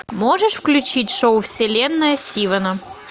можешь включить шоу вселенная стивена